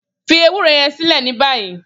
Fi ewuro yẹn silẹ ni bayi!